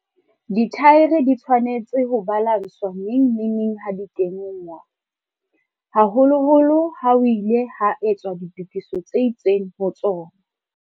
Dithaere di tshwanetse ho balanswa neng le neng ha di kenngwa, haholoholo ha ho ile ha etswa ditokiso tse itseng ho tsona.